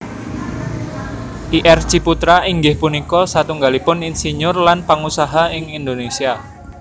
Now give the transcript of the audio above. Ir Ciputra inggih punika satunggalipun insinyur lan pangusaha ing Indonesia